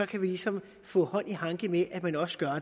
kan vi ligesom få hånd i hanke med at man også gør